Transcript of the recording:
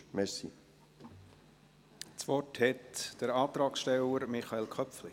Das Wort hat der Antragsteller Michael Köpfli.